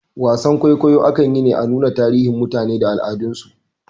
Wasar kwaikwayo akan yi ne a nuna tarihin mutane da al'adan su